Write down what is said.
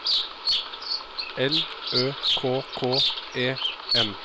L Ø K K E N